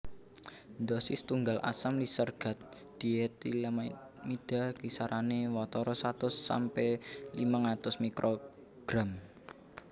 Dhosis tunggal asam lisergat dietilamida kisarané watara satus sampe limang atus mikrogram